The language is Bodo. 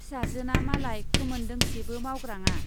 फिसाजोना मालाय खोमोन दोंसेबो मावग्राङा।